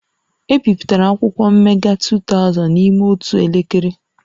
E bipụtara akwụkwọ mmega 2000 n'ime otu elekere